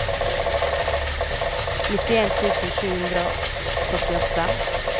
nittien tusen sju hundre og førtiåtte